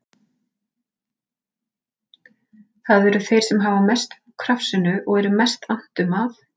Það eru þeir sem hafa mest upp úr krafsinu og er mest annt um að